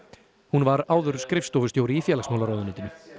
hún var áður skrifstofustjóri í félagsmálaráðuneytinu